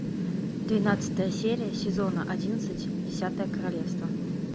двенадцатая серия сезона одиннадцать десятое королевство